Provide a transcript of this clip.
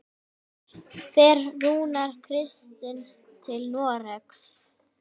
Fer Rúnar Kristins til Noregs?